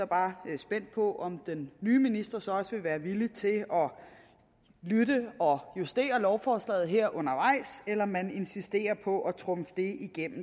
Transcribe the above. bare spændt på om den nye minister så også vil være villig til at lytte og justere lovforslaget her undervejs eller om man insisterer på at trumfe det